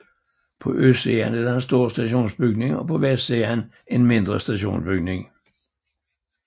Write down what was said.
På østsiden er der en stor stationsbygning og på vestsiden en mindre stationsbygning